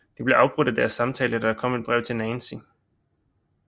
De bliver afbrudt i deres samtale da der kommer et brev til Nancy